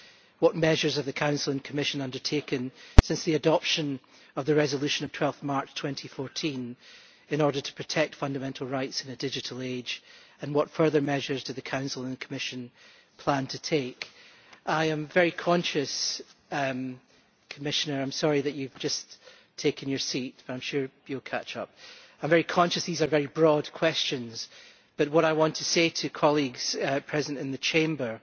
What measures have the Council and Commission undertaken since the adoption of the resolution of 12 March 2014 in order to protect fundamental rights in a digital age, and what further measures do the Council and Commission plan to take? I am very conscious Commissioner, I am sorry that you have just taken your seat, but I am sure you will catch up that these are very broad questions, but what I want to say to colleagues present in the Chamber